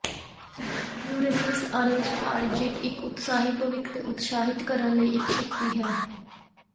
Uranus Aries transit ਇੱਕ ਉਤਸ਼ਾਹੀ ਭਵਿੱਖ ਨੂੰ ਉਤਸ਼ਾਹਿਤ ਕਰਨ ਲਈ ਇਕ ਸ਼ਕਤੀ ਹੈ